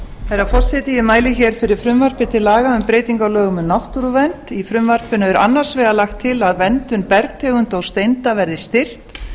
herra forseti ég mæli hér fyrir frumvarpi til laga um breytingu á lögum um náttúruvernd í frumvarpinu er annars vegar lagt til að verndun bergtegunda og steinda verði styrkt